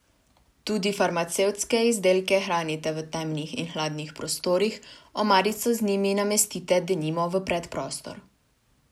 Tudi farmacevtske izdelke hranite v temnih in hladnih prostorih, omarico z njimi namestite denimo v predprostor.